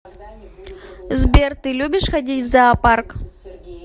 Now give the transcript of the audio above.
сбер ты любишь ходить в зоопарк